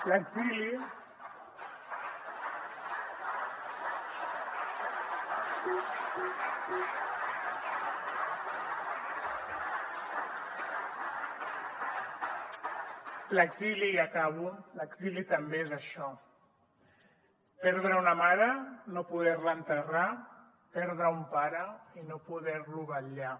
l’exili i acabo també és això perdre una mare i no poder la enterrar perdre un pare i no poder lo vetllar